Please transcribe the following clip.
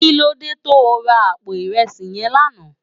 Kilódé tó rá àpó irèsí yèn làná?